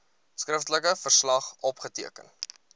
skriftelike verslag opgeteken